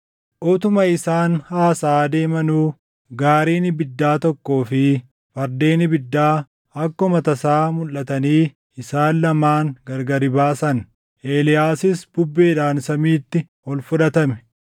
Utuma isaan haasaʼaa deemanuu gaariin ibiddaa tokkoo fi fardeen ibiddaa akkuma tasaa mulʼatanii isaan lamaan gargari baasan; Eeliyaasis bubbeedhaan samiitti ol fudhatame.